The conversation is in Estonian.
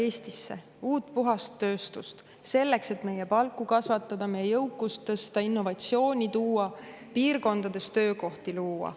uut puhast tööstust, selleks et meie palku kasvatada, meie jõukust tõsta, innovatsiooni tuua, piirkondades töökohti luua.